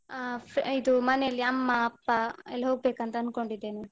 ಅ ಇದು ಮನೆಯಲ್ಲಿ ಅಮ್ಮ, ಅಪ್ಪ ಎಲ್ಲ ಹೋಗ್ಬೇಕಂತ ಅನ್ಕೊಂಡಿದ್ದೇನೆ.